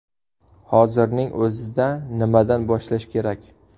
Hozirning o‘zida nimadan boshlash kerak ?